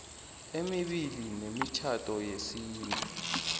emibili yemitjhado yesintu